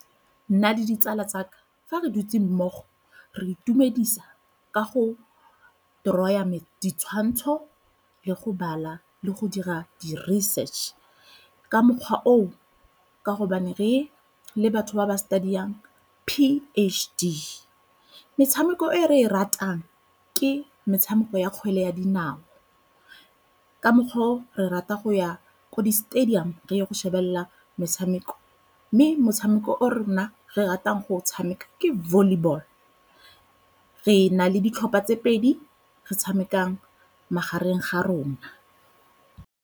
Nna le ditsala tsa ka fa re dutse mmogo re itumedisa ka go draw-ya ditshwantsho le go bala le go dira di-research ka mokgwa oo ka gobane re le batho ba ba study-ang P_h_D. Metshameko e re e ratang ke metshameko ya kgwele ya dinao ka mokgwa o re rata go ya ko di-stadium re ye go shebelela metshameko mme motshameko o rona re ratang go o tshameka ke volleyball. Re na le ditlhopha tse pedi, re tshamekang magareng ga rona.